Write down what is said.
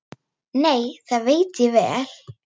Nei, það veit ég vel.